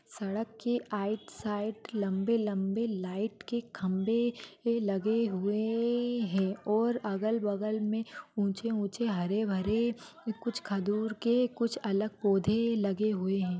सड़क के आइड साइड लंबे लंबे लाइट के खंभे ए लगे हुए हैं और अगल बगल में ऊंचे ऊंचे हरे भरे कुछ खजूर के कुछ अलग पौधे लगे हुए हैं।